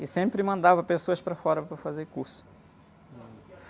E sempre mandava pessoas para fora, para fazer curso.